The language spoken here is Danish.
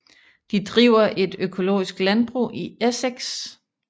De driver et økologisk landbrug i Essex